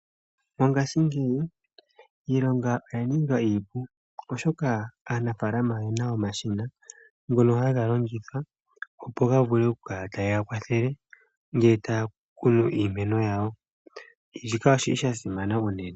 Mongaashingeyi iilonga oya ninga iipu oshoka aanafaalama oye na omashina ngono haga longithwa opo ga vule oku kala ta geya kwathele ngele taya kunu iimeno yawo. Shika oshili sha simana unene.